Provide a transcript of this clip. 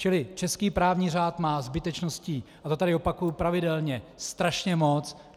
Čili český právní řád má zbytečností, a to tady opakuji pravidelně, strašně moc.